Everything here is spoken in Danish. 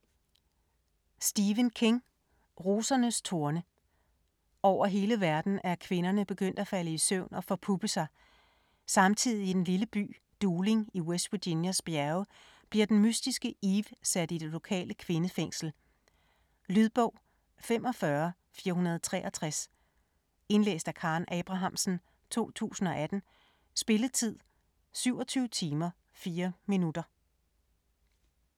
King, Stephen: Rosernes torne Over hele verden er kvinderne begyndt at falde i søvn og forpuppe sig. Samtidig i den lille by Dooling i West Virginias bjerge bliver den mystiske Eve sat i det lokale kvindefængsel. Lydbog 45463 Indlæst af Karen Abrahamsen, 2018. Spilletid: 27 timer, 4 minutter.